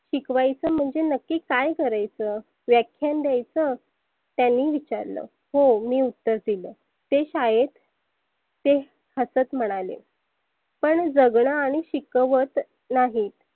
शिकवायच म्हणजे नेमक काय करायच? व्याख्यान द्यायच त्यांनी विचारलं हो मी उत्तर दिलं. ते शाळेत ते हसत म्हणाले. पण जगन आणि शिकवत नाहीत.